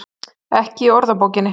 Ekki í orðabókinni.